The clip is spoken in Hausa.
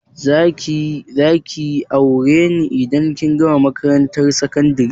Za ki yi aure ne indan kin gama makarantar sakandari?